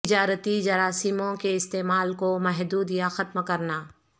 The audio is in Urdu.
تجارتی جراثیموں کے استعمال کو محدود یا ختم کرنا